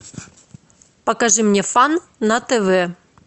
покажи мне фан на тв